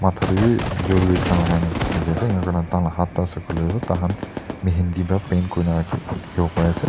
matta dae bi jewelries khan lagai na sai di asae enaka kurina tai kan laka hatt toh hoilae taikan mehindi para paint kurina dikibo pai asae.